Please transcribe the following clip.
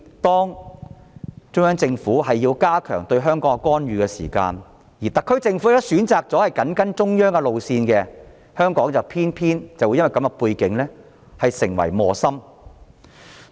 當中央政府加強對香港的干預，而特區政府選擇緊跟中央路線時，香港便會因這種背景而成為磨心。